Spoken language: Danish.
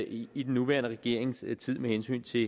i i den nuværende regerings tid med hensyn til